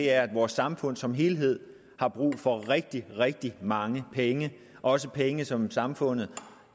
er at vores samfund som helhed har brug for rigtig rigtig mange penge også penge som samfundet